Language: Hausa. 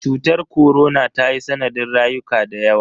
Cutar korona tayi sanadin rayuka dayawa.